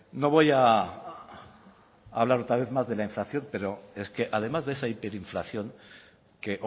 no voy a hablar otra vez más de la inflación pero es que además de esa hiperinflación que